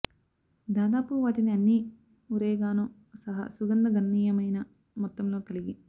దాదాపు వాటిని అన్ని ఒరేగానో సహా సుగంధ గణనీయమైన మొత్తంలో కలిగి